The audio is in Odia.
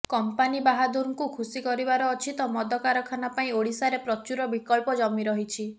କମ୍ପାନୀ ବାହାଦୁରଙ୍କୁ ଖୁସି କରିବାର ଅଛି ତ ମଦ କାରଖାନା ପାଇଁ ଓଡ଼ିଶାରେ ପ୍ରଚୁର ବିକଳ୍ପ ଜମି ରହିଛି